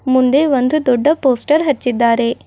ಮುಂದೆ ಒಂದು ದೊಡ್ಡ ಪೋಸ್ಟರ್ ಹಚ್ಚಿದ್ದಾರೆ.